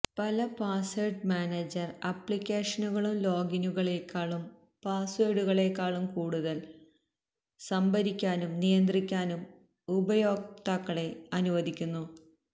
പല password manager അപ്ലിക്കേഷനുകളും ലോഗിനുകളേക്കാളും പാസ്വേഡുകളേക്കാളും കൂടുതൽ സംഭരിക്കാനും നിയന്ത്രിക്കാനും ഉപയോക്താക്കളെ അനുവദിക്കുന്നു